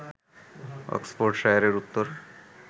অক্সফোর্ডশায়ারের উত্তর